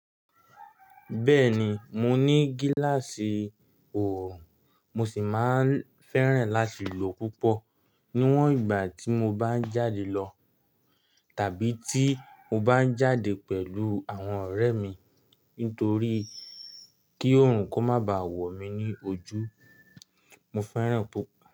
Bẹ́ẹ̀ni, mo ní gíláàsì ọ̀hún, mo sì máa ń fẹ́ràn láti lò púpọ̀ níwọ̀n ìgbà tí mo bá ń jáde lọ tàbí tí mo bá ń jáde pẹ̀lú àwọn ọ̀rẹ́ mi nítorí kí Òòrùn kó má ba à wọ̀ mí ní ojú. Mo fẹ́ràn púpọ̀